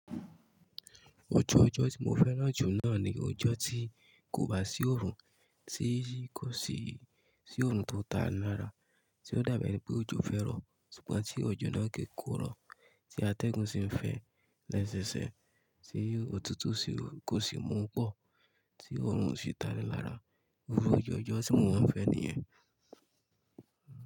Ọjọ́ ọjọ́ tí mo fẹ́ràn jù náà ni ọjọ́ tí kò bá sí oòrùn, tí kò sì sí oòrùn tó ni lára, tí ó dàbí ẹni pé òjò fẹ́ rọ̀, ṣùgbọ́n tí òjò náà kì kó rọ̀, tí atẹ́gùn sì ń fẹ́ lẹ́sẹẹsẹ, tí òtútù sì kò sì mú pọ́, tí oòrùn osì ta ni lára. Irú, ojó ọjọ́ tí mò ń fẹ́ nìyẹn.